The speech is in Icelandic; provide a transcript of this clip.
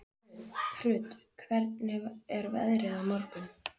Hrund, hvernig er veðrið á morgun?